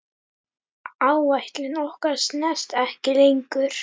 Áætlun okkar stenst ekki lengur.